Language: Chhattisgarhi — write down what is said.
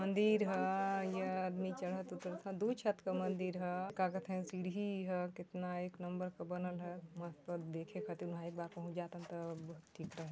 मंदिर ह इया आदमी चढत उतरत ह दुई छत का मंदिर ह का कथे सीढ़ी हा कितना एक नंबर का बनल ह मस्त देखे खातिर उहा एक बार पहुंच जातन त ठीक रहे --